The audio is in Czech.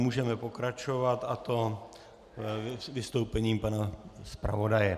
Můžeme pokračovat, a to vystoupením pana zpravodaje.